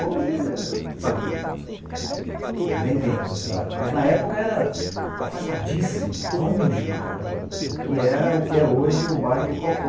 Hoje está bem dentro da cidade, mas na época era afastadíssimo, longe para caramba, que era o que é hoje o bairro do Cocó.